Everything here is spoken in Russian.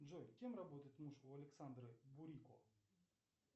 джой кем работает муж у александры бурико